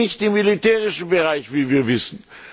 Die liegt nicht im militärischen Bereich, wie wir wissen.